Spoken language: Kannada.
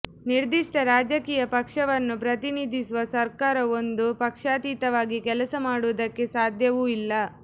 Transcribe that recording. ನಿರ್ದಿಷ್ಟ ರಾಜಕೀಯ ಪಕ್ಷವನ್ನು ಪ್ರತಿನಿಧಿಸುವ ಸರ್ಕಾರವೊಂದು ಪಕ್ಷಾತೀತವಾಗಿ ಕೆಲಸ ಮಾಡುವುದಕ್ಕೆ ಸಾಧ್ಯವೂ ಇಲ್ಲ